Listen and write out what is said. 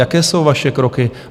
Jaké jsou vaše kroky?